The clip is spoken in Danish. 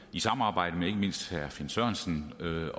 i samarbejde med ikke mindst herre finn sørensen at